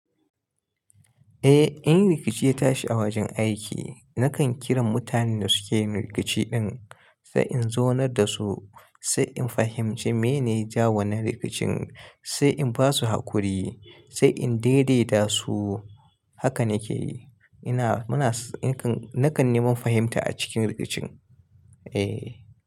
Eh, in rikici ya tashi a wajen aiki nakan kiran mutanen da suke yin rikici din sai in zaunar da su, sai in fahimci meyene ja wanan rikicin, sai in basu hakuri, sai in daidaita su. Haka nake yi. Ina, muna, nakan neman fahimta a cikin rikicin. Eh.